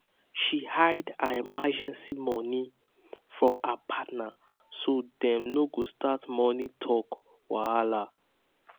um she hide her emergency money from her partner so dem no go start money talk wahala.